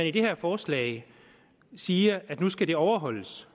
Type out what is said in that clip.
i det her forslag siger at det nu skal overholdes